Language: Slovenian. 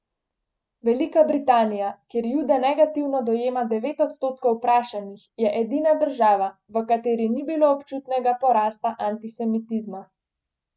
Velika Britanija, kjer jude negativno dojema devet odstotkov vprašanih, je edina država, v kateri ni bilo občutnega porasta antisemitizma.